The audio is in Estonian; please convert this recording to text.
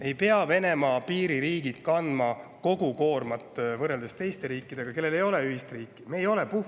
Ei pea Venemaa piiririigid kandma koormat kui teised riigid, kellel ei ole ühist piiri.